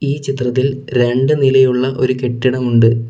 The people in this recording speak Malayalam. ഈ ചിത്രത്തിൽ രണ്ട് നിലയുള്ള ഒരു കെട്ടിടമുണ്ട്.